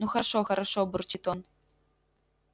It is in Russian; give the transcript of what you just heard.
ну хорошо хорошо бурчит он